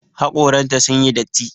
Haƙoran ta sun yi datti.